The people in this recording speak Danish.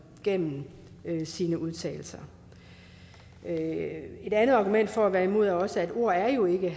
gennem sine udtalelser et andet argument for at være imod er også at ord jo ikke